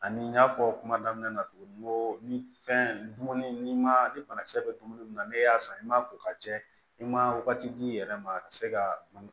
Ani n y'a fɔ kuma daminɛ na cogo min n ko ni fɛn dumuni n'i ma ni banakisɛ bɛ dumuni mun na n'e y'a san i ma ko ka jɛ i ma wagati di i yɛrɛ ma ka se ka